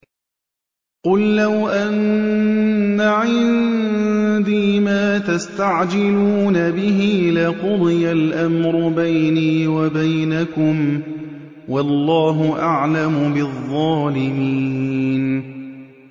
قُل لَّوْ أَنَّ عِندِي مَا تَسْتَعْجِلُونَ بِهِ لَقُضِيَ الْأَمْرُ بَيْنِي وَبَيْنَكُمْ ۗ وَاللَّهُ أَعْلَمُ بِالظَّالِمِينَ